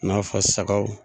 I n'a fɔ sagaw.